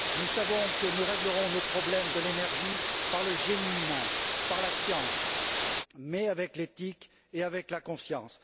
Nous savons que nous réglerons nos problèmes de l'énergie par le génie humain et la science, mais avec l'éthique et la conscience.